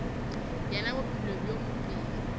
yena bophelo bo mo pele